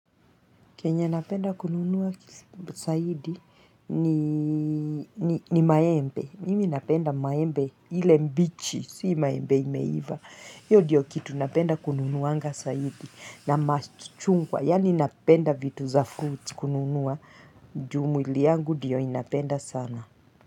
Chenye napenda kununua zaidi ni maembe. Mimi napenda maembe ile mbichi, si maembe imeiva. Hiyo diyo kitu napenda kununuanga zaidi. Na machungwa, yani napenda vitu za fruits kununua. Ju mwili yangu diyo inapenda sana.